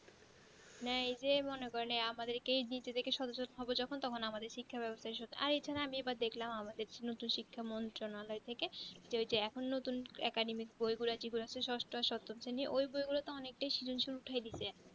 না এই যে মনে করেন আমাদের কেই যেকরে সদ সদ যখন তখন শিক্ষা বেবস্তা আর যেখানে আমি দেখলাম আমাদের নতুন নতুন শিক্ষা মন্ত্রণল যেহুতু এখুন নতুন academy থেকে ঘুরেছি ঘুরেছি সস্ত তিনি ওই বই গুলো তা অনেক তা উঠায়